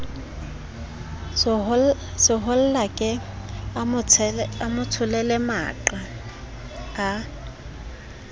sehollake a motsholele maqa a